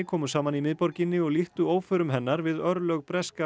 komu saman í miðborginni og líktu óförum hennar við örlög breska